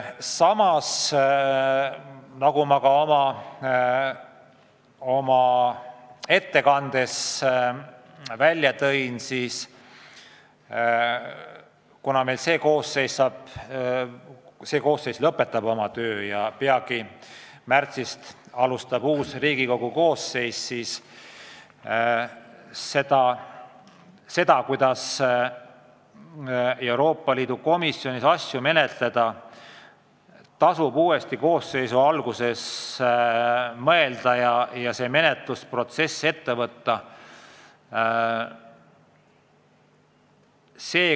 Samas, nagu ma ka oma ettekandes märkisin, kuna meil see koosseis lõpetab peagi töö ja märtsis alustab uus Riigikogu koosseis, siis tasub seda, kuidas Euroopa Liidu asjade komisjonis asju menetleda, uue koosseisu töö alguses korralikult arutada ja kogu menetlusprotsess ette võtta.